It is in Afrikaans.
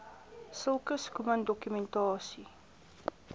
sulke schoeman dokumentasie